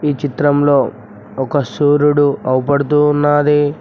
ఈ చిత్రంలో ఒక సూర్యుడు అవుపడుతూ ఉన్నాది.